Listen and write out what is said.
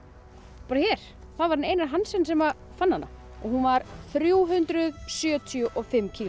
bara hér það var Einar Hansen sem fann hana og hún var þrjú hundruð sjötíu og fimm kíló